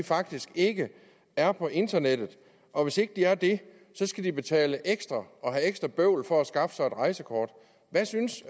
faktisk ikke er på internettet og hvis ikke de er det skal de betale ekstra og have ekstra bøvl for at skaffe sig et rejsekort hvad synes